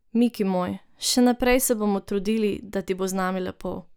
Miki moj, še naprej se bomo trudili, da ti bo z nami lepo.